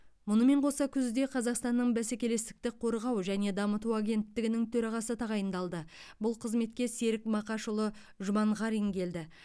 мұнымен қоса күзде қазақстанның бәсекелестікті қорғау және дамыту агенттігінің төрағасы тағайындалды бұл қызметке серік мақашұлы жұманғарин келді